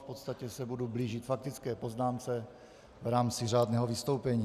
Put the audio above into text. V podstatě se budu blížit faktické poznámce v rámci řádného vystoupení.